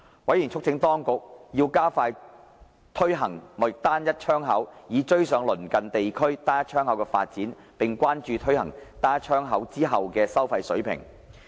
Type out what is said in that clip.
委員促請當局加快推行貿易單一窗口，以追上鄰近地區單一窗口的發展，並關注推行單一窗口後的收費水平。